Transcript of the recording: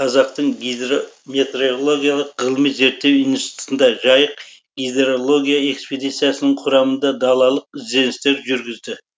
қазақтың гидрометеорологиялық ғылыми зерттеу институтында жайық гидрологиялық экспедициясының құрамында далалық ізденістер жүргізді